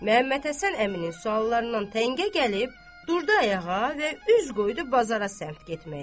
Məmmədhəsən əminin suallarından təngə gəlib durdu ayağa və üz qoydu bazara sərf getməyə.